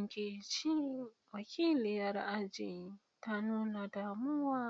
Nkechi, wakiliyar aji, ta nuna damuwa